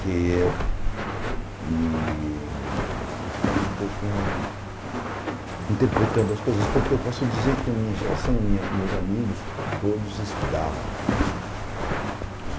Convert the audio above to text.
que e eu ficava um pouco interpretando as coisas, porque eu posso dizer que a minha geração, minha meus amigos, todos estudavam.